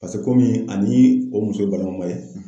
Paseke ani o muso ye balima ma ye